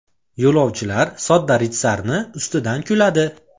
Yo‘lovchilar sodda ritsarni ustidan kuladi.